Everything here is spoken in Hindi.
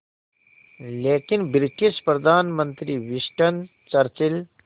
लेकिन ब्रिटिश प्रधानमंत्री विंस्टन चर्चिल